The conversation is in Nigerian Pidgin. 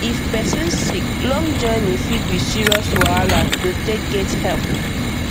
if person sick long journey fit be serious wahala totake get help